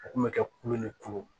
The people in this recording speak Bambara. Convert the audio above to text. U kun bɛ kɛ kulu ni kulu